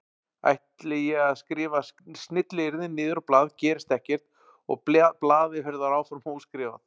Ætli ég að skrifa snilliyrðin niður á blað gerist ekkert og blaðið verður áfram óskrifað.